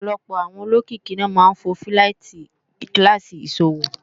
ọ̀pọ̀lọpọ̀ àwọn olókìkí ni wọ́n máa ń fò fíláìtí kíláàsì ìṣòwò